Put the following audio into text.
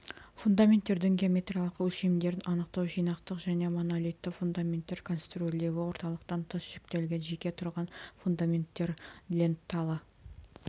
фундаменттердің геометриялық өлшемдерін анықтау жинақтық және монолитті фундаменттер конструирлеуі орталықтан тыс жүктелген жеке тұрған фундементтер ленталы